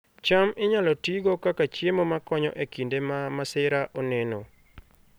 cham inyalo tigo kaka chiemo makonyo e kinde ma masira oneno